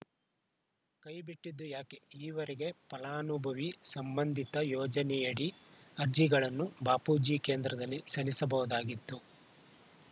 ಕೈ ಬಿಟ್ಟಿದ್ದು ಯಾಕೆ ಈವರೆಗೆ ಫಲಾನುಭವಿ ಸಂಬಂಧಿತ ಯೋಜನೆಯಡಿ ಅರ್ಜಿಗಳನ್ನು ಬಾಪೂಜಿ ಕೇಂದ್ರದಲ್ಲಿ ಸಲ್ಲಿಸಬಹುದಾಗಿತ್ತು